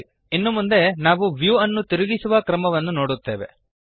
ಸರಿ ಇನ್ನು ಮುಂದೆ ನಾವು ವ್ಯೂಅನ್ನು ತಿರುಗಿಸುವ ಕ್ರಮವನ್ನು ನೋಡುತ್ತೇವೆ